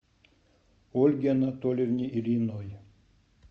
ольге анатольевне ильиной